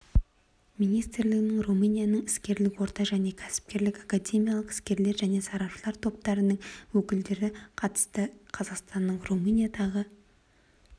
министрлігінің румынияның іскерлік орта және кәсіпкерлік академиялық іскерлер және сарапшылар топтарының өкілдері қатысты қазақстанның румыниядағы